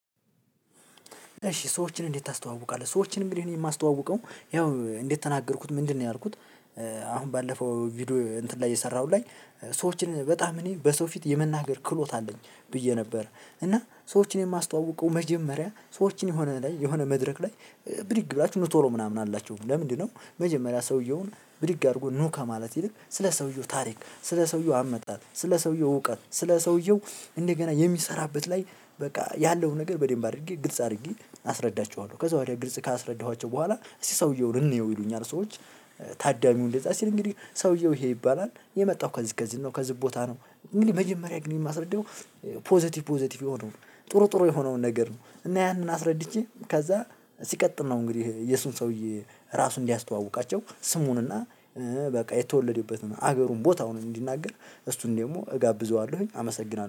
እሺ ሰዎችን እንዴት ታስተዋውቃለህ? ሰዎችን እንግዲህ እኔ የማስተዋውቀው ያው እንደተናገርኩት ምንድነው ያልኩት? አሁን ባለፈው ቪዲዮ እንትን ላይ የሰራሁት ላይ ሰዎችን በጣም እኔ በሰው ፊት የመናገር ክህሎት አለኝ ብዬ ነበር። እና ሰዎችን የማስተዋውቀው መጀመሪያ ሰዎችን የሆነ ላይ የሆነ መድረክ ላይ ብድግ ብላችሁ የምታወሩ ምናምን አላችሁ ለምንድነው መጀመሪያ ሰውየውን? ብድግ አድርጎ ኑ ከማለት ይልቅ ስለ ሰውየው ታሪክ ስለ ሰውየው አመጣጥ ስለ ሰውየው እውቀት ስለ ሰውየው እንደገና የሚሰራበት ላይ በቃ ያለውን ነገር በደንብ አድርጌ ግልጽ አድርጌ አስረዳቸዋለሁ ከዛ ወዲያ ግልጽ ካስረዳኋቸው በኋላ እስቲ ሰውየውን እንየው ይሉኛል ሰዎች። ታዳሚው እንደዛ ሲል እንግዲህ ሰውየው ይሄ ይባላል የመጣው ከዚህ ከዚህ ነው ከዚህ ቦታ ነው። እንግዲህ መጀመሪያ ግን የማስረዳው። ፖዘቲቭ ፖዘቲቭ የሆነውን ጥሩ ጥሩ የሆነውን ነገር ነው። እና ያንን አስረድቼ ከዛ ሲቀጥል ነው እንግዲህ የሱን ሰውዬ ራሱ እንዲያስተዋውቃቸው ስሙን እና በቃ የተወለደበትን ሀገሩን ቦታውን እንዲናገር። እሱን ደግሞ እጋብዘዋለሁኝ አመሰግናለሁ